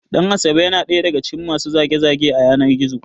Ɗan asabe ya na ɗaya daga cikin masu zage- zage a yanar Gizo